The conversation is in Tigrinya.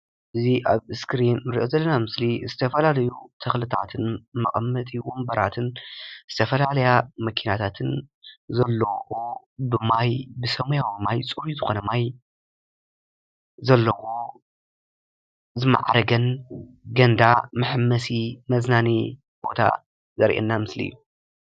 እዚ ኣብ እስክሪን ንርኦ ዘለና ምስሊ ዝተፈላለዩ ተክልታትን መቀመጢ ወንበራትን ዝተፈላለያ መኪናታትን ዘለዎ ብማይ ብሰሚያዊ ማይ ፅሩይ ዝኮነ ማይ ዘለዎ ዝማዓረገን ገንዳ መሓንበስን መዝናነይን ቦታ ዘርኤና ምስሊ እዩ።